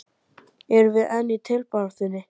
Erum við enn í titilbaráttunni?